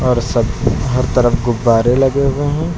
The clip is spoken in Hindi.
हर तरफ गुब्बारे लगे हुए हैं।